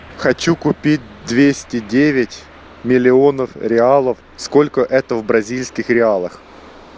хочу купить двести девять миллионов реалов сколько это в бразильских реалах